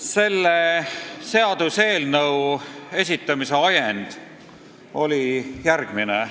Selle seaduseelnõu esitamise ajend oli järgmine.